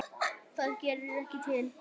Það gerði ekki til.